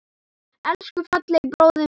Elsku fallegi bróðir minn.